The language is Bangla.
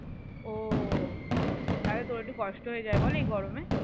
ও তাহলে তোর একটু কষ্ট হয়ে যায় বল এই গরমে